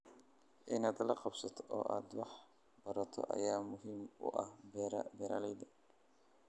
Inaad la qabsato oo aad wax barato ayaa muhiim u ah beeralayda.